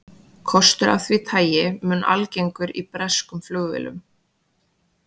Kostur af því tagi mun algengur í breskum flugvélum.